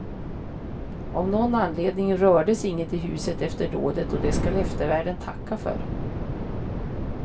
Av någon anledning rördes inget i huset efter dådet och det skall eftervärlden tacka för.